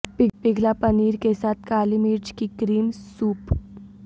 پگھلا پنیر کے ساتھ کالی مرچ کی کریم سوپ